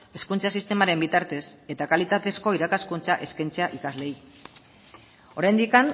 hezkuntza sistemaren bitartez eta kalitatezko irakaskuntza eskaintzea ikasleei oraindik